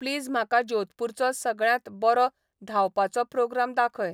please म्हाका जोधपूरचो सगळ्यांत बरो धांवपाचो प्रोग्राम दाखय